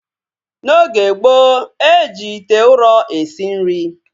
N'oge gboo, e ji ite ụrọ esi nri